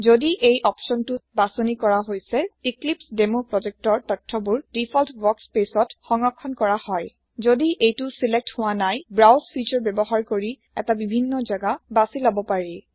যদি এই অপচনটো বাচানি কৰা হৈছে এক্লিপছেডেমো প্ৰজেক্টৰ তথয়বোৰ দিফল্ট ৱৰ্কস্পেচত সংৰক্ষণ কৰা হয় যদি এইটো বাছনি হোৱা নাই ব্ৰাউজ ফিছাৰ ব্যৱহাৰ কৰি এটা বিভিন্ন জেগা বাচি লব পাৰি